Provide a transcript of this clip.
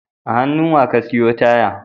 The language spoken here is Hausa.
A hannu Wa ka siyo taya?